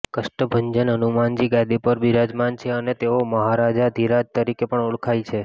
કષ્ટભંજન હનુમાનજી ગાદી પર બિરાજમાન છે અને તેઓ મહારાજાધિરાજ તરીકે પણ ઓળખાય છે